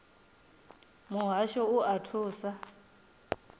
muhasho u o oa thuso